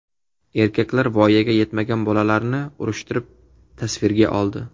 Erkaklar voyaga yetmagan bolalarni urushtirib, tasvirga oldi .